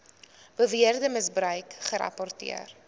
beweerde misbruik gerapporteer